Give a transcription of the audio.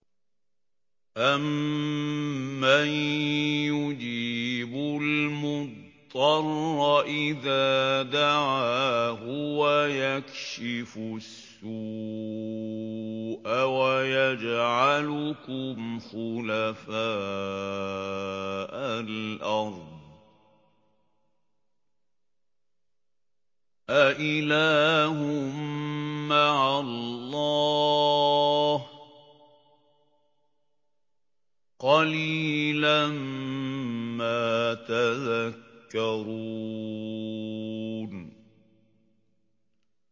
أَمَّن يُجِيبُ الْمُضْطَرَّ إِذَا دَعَاهُ وَيَكْشِفُ السُّوءَ وَيَجْعَلُكُمْ خُلَفَاءَ الْأَرْضِ ۗ أَإِلَٰهٌ مَّعَ اللَّهِ ۚ قَلِيلًا مَّا تَذَكَّرُونَ